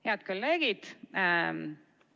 Head kolleegid!